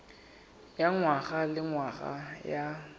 ya ngwaga le ngwaga ya